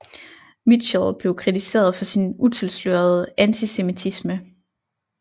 Michtell blev kritiseret for sin utilslørede antisemitisme